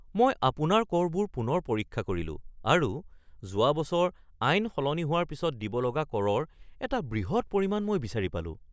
মই আপোনাৰ কৰবোৰ পুনৰ পৰীক্ষা কৰিলোঁ আৰু যোৱা বছৰ আইন সলনি হোৱাৰ পিছত দিব লগা কৰৰ এটা বৃহৎ পৰিমাণ মই বিচাৰি পালোঁ৷